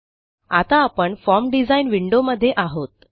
आता आपण form design window मध्ये आहोत